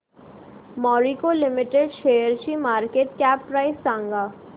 Marico limited शेअरची market cap price सांगा